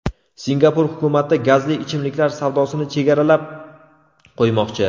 Singapur hukumati gazli ichimliklar savdosini chegaralab qo‘ymoqchi.